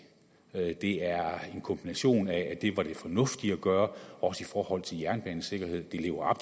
det er en kombination af at det var det fornuftige at gøre også i forhold til jernbanesikkerheden det lever